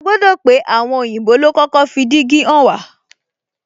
A gbodo pé àwọn òyìnbó lo kọ́kọ́ fi dígí hàn wá